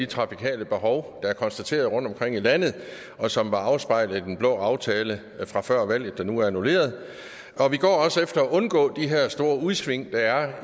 trafikale behov der er konstateret rundtomkring i landet og som var afspejlet i den blå aftale fra før valget der nu er annulleret og vi går også efter at undgå de her store udsving der er